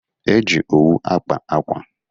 E ji owu akpa akwa.